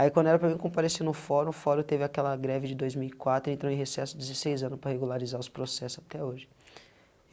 Aí quando era para mim comparecer no fórum, o fórum teve aquela greve de dois mil e quatro, entrou em recesso dezesseis anos para regularizar os processo até hoje.